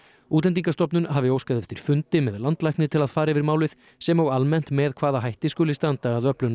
Útlendingastofnun hafi óskað eftir fundi með landlækni til að fara yfir málið sem og almennt með hvaða hætti skuli standa að öflun